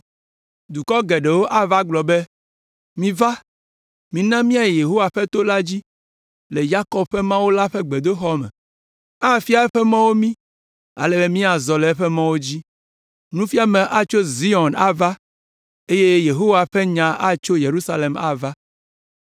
Dukɔ geɖewo ava agblɔ be, “Miva. Mina míayi Yehowa ƒe to la dzi le Yakob ƒe Mawu la ƒe gbedoxɔ me. Afia eƒe mɔwo mí ale be míazɔ le eƒe mɔwo dzi.” Nufiame atso Zion ava eye Yehowa ƒe nya atso Yerusalem ava.